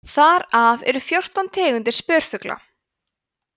þar af eru fjórtán tegundir spörfugla